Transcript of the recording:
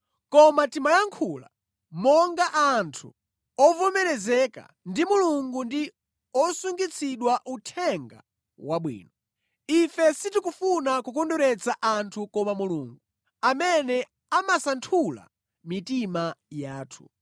Koma timayankhula monga anthu ovomerezeka ndi Mulungu ndi osungitsidwa Uthenga Wabwino. Ife sitikufuna kukondweretsa anthu koma Mulungu, amene amasanthula mitima yathu.